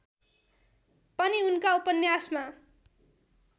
पनि उनका उपन्यासमा